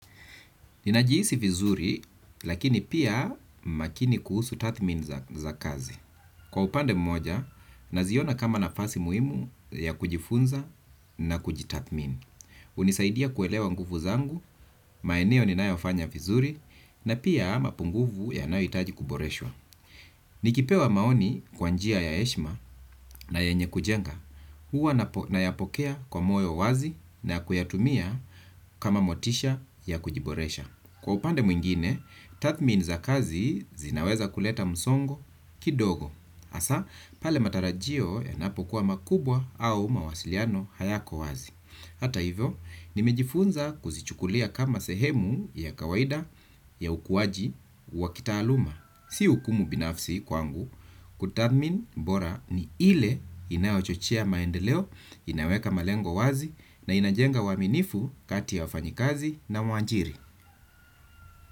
Ninajihisi vizuri, lakini pia makini kuhusu tathmin za kazi. Kwa upande mmoja, naziona kama nafasi muhimu ya kujifunza na kujitathmini. Unisaidia kuelewa nguvu zangu, maeneo ninayofanya vizuri, na pia ma punguvu yanayoitaji kuboreshwa. Nikipewa maoni kwa njia ya heshima na yenye kujenga. Huwa nayapokea kwa moyo wazi na kuyatumia kama motisha ya kujiboresha. Kwa upande mwingine, tathmin za kazi zinaweza kuleta msongo kidogo, hasaa pale matarajio yanapo kuwa makubwa au mawasiliano hayako wazi. Hata hivyo, nimejifunza kuzichukulia kama sehemu ya kawaida ya ukuwaji wa kitaaluma. Si ukumu binafsi kwangu, kutathmin bora ni ile inayochochea maendeleo, inaweka malengo wazi na inajenga waminifu kati ya wafanyikazi na mwajiri.